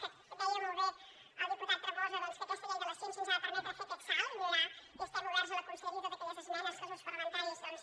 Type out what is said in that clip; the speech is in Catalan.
que deia molt bé el diputat tremosa que aquesta llei de la ciència ens ha de permetre fer aquest salt i millorar i estem oberts a la conselleria a totes aquelles esmenes que els grups parlamentaris doncs